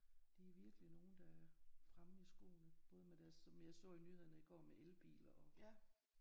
De er virkelig nogle der er fremme i skoene både med deres som jeg så i nyhederne i går med elbiler og